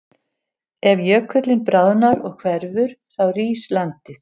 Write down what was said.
Ef jökullinn bráðnar og hverfur þá rís landið.